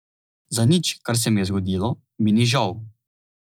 Za nič, kar se mi je zgodilo, mi ni žal.